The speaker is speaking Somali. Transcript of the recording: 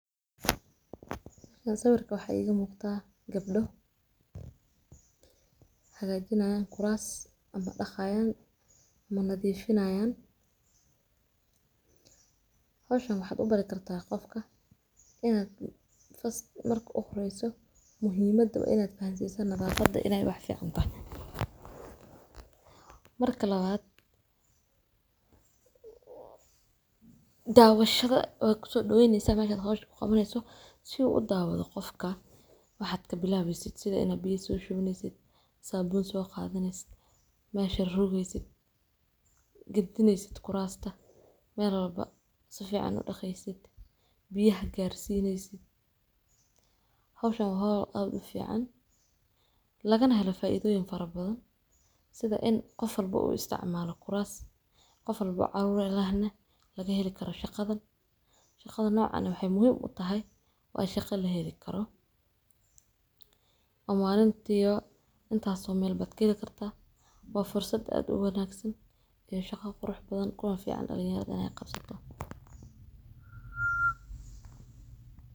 sawirkaan waxaa iga muqdaa gabdo hagaajinayaan kuras o dhaqayaan oona tirtiryaan o nah nadifinayaan howshan waxaa ubarinkartaa qofka inaad first marka ugu horeyso aad fahamsiisa nadafad iany wax fican tahay marka labaad dawashada waa kusodeweneesa meshan si uu dhawado qofka waxaad kabilabeysid sidi inaa biya soo shubeysid saabuun soqadaneysid mesha rugeysid gedineysid kurasta melwaalba sifican udhaqesid biyaha gaarisneesid hawshan waa hawl aad ufican lagana helo faidooyin fara badan sida in qofwalbo isticmaalo kuraas qofwalboo lagaheli karo shaqadan shaqada nocaan waxay muhiimutahay waa shaqa laheli karo oo amlinti intaas oo mel baad kaheli kartaa waa fursad aad u wanagsan iyo shaqa qurux badan inay dhaliyarad qabsato